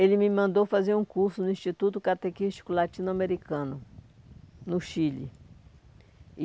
Ele me mandou fazer um curso no Instituto Catequístico Latino-Americano, no Chile.